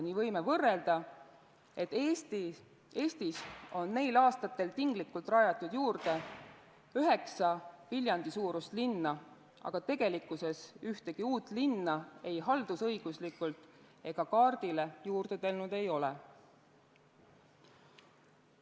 Nii võime võrrelda, et Eestis on neil aastatel tinglikult rajatud juurde üheksa Viljandi-suurust linna, aga tegelikkuses ühtegi uut linna ei haldusõiguslikult ega kaardile juurde tulnud ei ole.